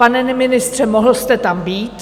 Pane ministře, mohl jste tam být.